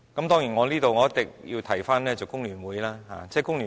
當然，這裏我一定要提及工聯會。